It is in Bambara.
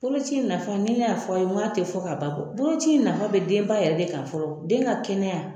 Bolo ci nafa ni ne y'a fɔ aw ye n go a te fɔ ka ban, boloci in nafa be denba yɛrɛ de kan fɔlɔ, den ka kɛnɛya